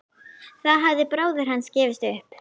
Þá hafði bróðir hans gefist upp.